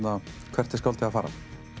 hvert er skáldið að fara